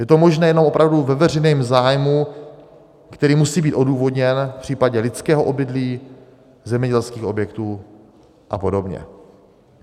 Je to možné jenom opravdu ve veřejném zájmu, který musí být odůvodněn, v případě lidského obydlí, zemědělských objektů a podobně.